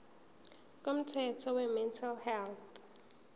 komthetho wemental health